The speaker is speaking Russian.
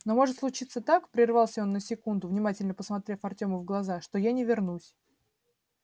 но может случиться так прервался он на секунду внимательно посмотрев артему в глаза что я не вернусь